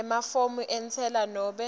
emafomu entsela nobe